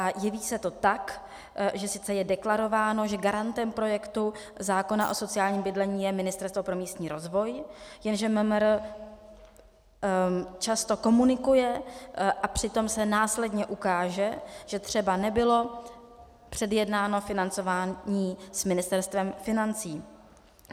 A jeví se to tak, že sice je deklarováno, že garantem projektu zákona o sociálním bydlení je Ministerstvo pro místní rozvoj, jenže MMR často komunikuje a přitom se následně ukáže, že třeba nebylo předjednáno financování s Ministerstvem financí.